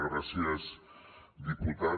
gràcies diputat